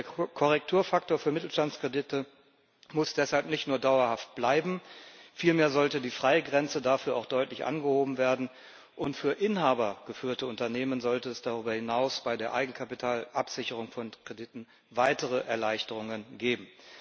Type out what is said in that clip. Der Korrekturfaktor für Mittelstandskredite muss deshalb nicht nur dauerhaft bleiben, vielmehr sollte die Freigrenze dafür auch deutlich angehoben werden, und für inhabergeführte Unternehmen sollte es darüber hinaus bei der Eigenkapitalabsicherung von Krediten weitere Erleichterungen geben.